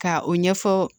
Ka o ɲɛfɔ